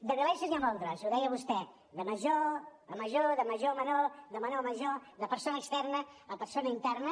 de violències n’hi ha moltes ho deia vostè de major a major de major a menor de menor a major de persona externa a persona interna